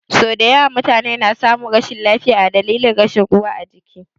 Sau dayawa mutune na samun rashin lafiya a dalilin rashin ruwa ajiki